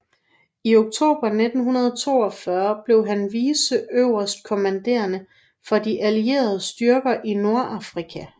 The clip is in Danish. I oktober 1942 blev han viceøverstkommanderende for de allierede styrker i Nordafrika